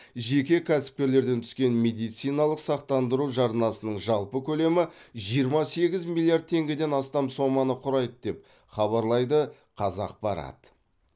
жеке кәсіпкерлерден түскен медициналық сақтандыру жарнасының жалпы көлемі жиырма сегіз миллиард теңгеден астам соманы құрайды деп деп хабарлайды қазақпарат